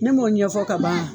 Ne m'o ɲɛfɔ kaban